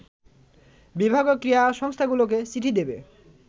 বিভাগীয় ক্রীড়া সংস্থাগুলোকে চিঠি দেবে